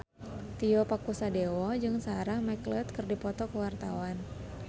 Tio Pakusadewo jeung Sarah McLeod keur dipoto ku wartawan